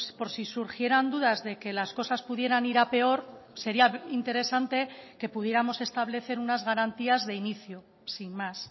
por si surgieran dudas de que las cosas pudieran ir a peor sería interesante que pudiéramos establecer unas garantías de inicio sin más